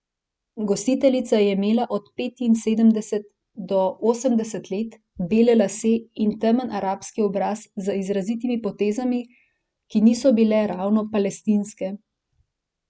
Gostiteljica je imela od petinsedemdeset do osemdeset let, bele lase in temen arabski obraz z izrazitimi potezami, ki niso bile ravno palestinske.